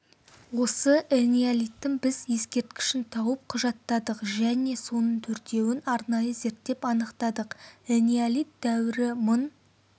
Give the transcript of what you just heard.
осы энеолиттің біз ескерткішін тауып құжаттадық және соның төртеуін арнайы зерттеп анықтадық энеолит дәуірі мың мың